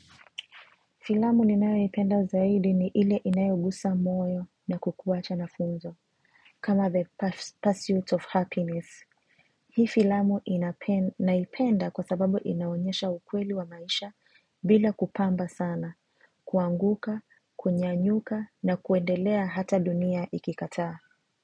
Filamu ninayoipenda zaidi ni ile inayogusa moyo na kukuwacha na funzo. Kama the pursuit of happiness. Hii filamu naipenda kwa sababu inaonyesha ukweli wa maisha bila kupamba sana. Kuanguka, kunyanyuka na kuendelea hata dunia ikikataa.